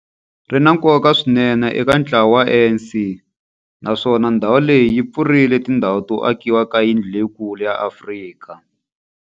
Ri na nkoka swinene eka ntlawa wa ANC, naswona ndhawu leyi yi pfurile tindlela to akiwa ka yindlu leyikulu ya Afrika.